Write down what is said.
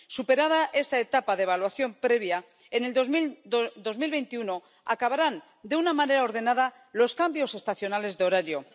Superada esta etapa de evaluación previa, en el 2021 acabarán de una manera ordenada los cambios estacionales de horario.